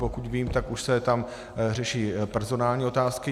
Pokud vím, tak už se tam řeší personální otázky.